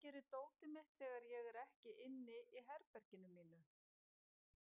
Hvað gerir dótið mitt þegar ég er ekki inn í herberginu mínu?